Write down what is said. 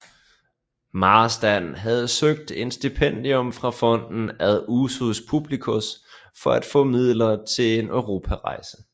Marstrand havde søgt et stipendium fra Fonden ad usus publicos for at få midler til en europarejse